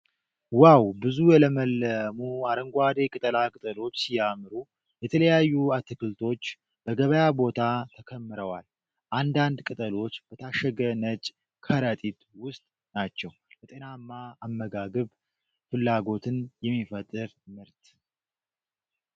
ዋው! ብዙ የለመለሙ አረንጓዴ ቅጠላ ቅጠሎች ሲያምሩ! የተለያዩ አትክልቶች በገበያ ቦታ ተከምረዋል። አንዳንድ ቅጠሎች በታሸገ ነጭ ከረጢት ውስጥ ናቸው። ለጤናማ አመጋገብ ፍላጎትን የሚፈጥር ምርት።